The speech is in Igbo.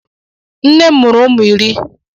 Nne m mụrụ ụmụ iri.